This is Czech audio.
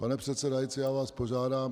Pane předsedající, já vás požádám...